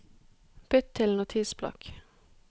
Bytt til Notisblokk